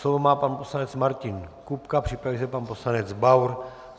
Slovo má pan poslanec Martin Kupka, připraví se pan poslanec Baur.